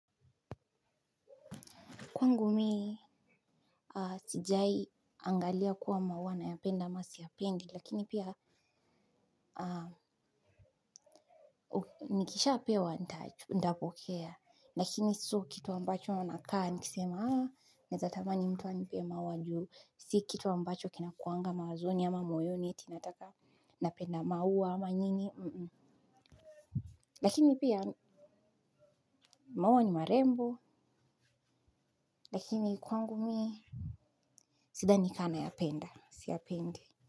Kwangu mi sijawahi angalia kuwa maua nayapenda au siyapendi lakini pia nikishapewa nitapokea lakini sio kitu ambacho nakaa nikisema haa naeza tamani mtu anipee maua juu si kitu ambacho kinakuanga mawazoni ama moyoni eti nataka napenda maua ama nini. Lakini pia maua ni marembo lakini kwangu mi sidhani kaa nayapenda siyapendi.